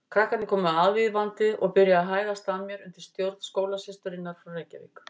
Krakkarnir komu aðvífandi og byrjuðu að hæðast að mér undir stjórn skólasysturinnar frá Reykjavík.